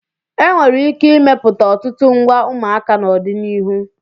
E nwere ike imepụta ọtụtụ ngwa ụmụaka n'ọdịnihu.